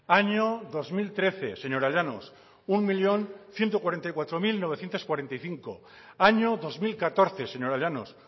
año dos mil trece señora llanos un millón ciento cuarenta y cuatro mil novecientos cuarenta y cinco año dos mil catorce señora llanos